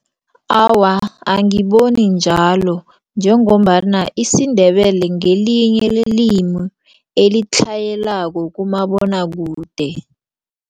Awa, angiboni njalo njengombana isiNdebele ngelinye lelimi elitlhayelako kumabonwakude.